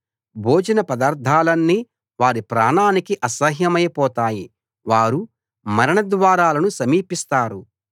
భోజనపదార్థాలన్నీ వారి ప్రాణానికి అసహ్యమై పోతాయి వారు మరణద్వారాలను సమీపిస్తారు